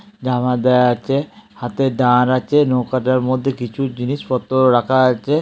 দেওয়া আছে। হাতে দাঁড় আছে। নৌকাটার মধ্যে কিছু জিনিস পত্র রাখা আছে।